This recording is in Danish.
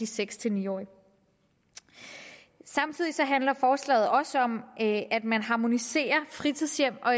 seks til ni år samtidig handler forslaget også om at man harmoniserer fritidshjem og